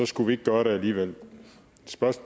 skulle vi ikke gøre det alligevel